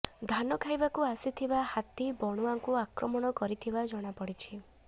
ଧାନ ଖାଇବାକୁ ଆସିଥିବା ହାତୀ ବଣୁଆଙ୍କୁ ଆକ୍ରମଣ କରିଥିବା ଜଣାପଡ଼ିଛି